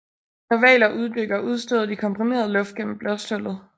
Når hvaler uddykker udstøder de komprimeret luft gennem blåsthullet